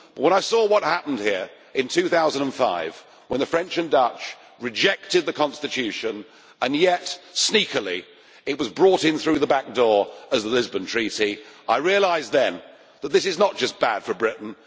When I saw what happened here in 2005, when the French and Dutch rejected the constitution and yet sneakily it was brought in through the back door as the Lisbon Treaty, I realised then that this is not just bad for Britain